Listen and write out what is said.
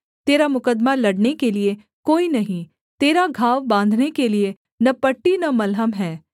तेरा मुकद्दमा लड़ने के लिये कोई नहीं तेरा घाव बाँधने के लिये न पट्टी न मलहम है